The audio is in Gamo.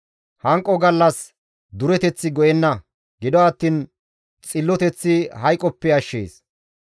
Hanqo gallas dureteththi go7enna; gido attiin xilloteththi hayqoppe ashshees.